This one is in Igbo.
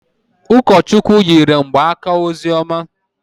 Ụkọchukwu yiri mgbaaka ozioma